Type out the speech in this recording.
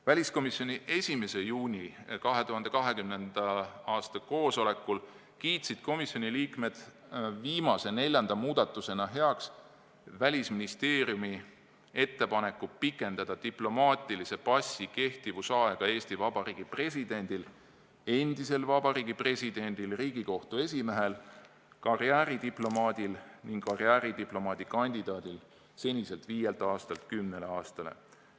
Väliskomisjoni 1. juuni koosolekul kiitsid komisjoni liikmed viimase, neljanda muudatusena heaks Välisministeeriumi ettepaneku pikendada diplomaatilise passi kehtivusaega Eesti Vabariigi presidendil, endisel Eesti Vabariigi presidendil, Riigikohtu esimehel, karjääridiplomaadil ning karjääridiplomaadi kandidaadil seniselt viielt aastalt kümnele aastale.